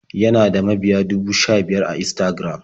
Yana da mabiya dubu sha-biyar a Instagram.